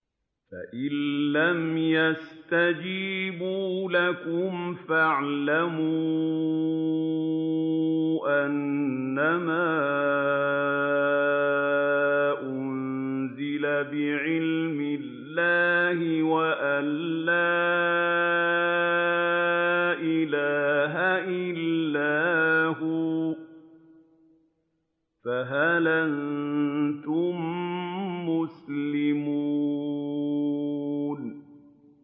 فَإِلَّمْ يَسْتَجِيبُوا لَكُمْ فَاعْلَمُوا أَنَّمَا أُنزِلَ بِعِلْمِ اللَّهِ وَأَن لَّا إِلَٰهَ إِلَّا هُوَ ۖ فَهَلْ أَنتُم مُّسْلِمُونَ